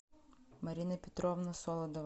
марина петровна солодова